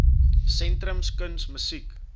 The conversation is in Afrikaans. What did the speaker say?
sentrums kuns musiek